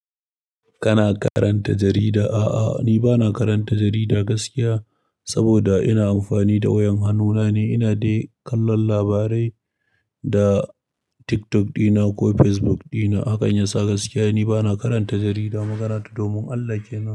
Kana karanta jarida? A'a, ni ba na karanta jarida gaskiya saboda ina amfani da wayar hannuna ne. Ina dai kallon labarai da TikTok dina ko Facebook dina. Hakan yasa gaskiya ni ba na karanta jarida magana ta domin Allah kenan.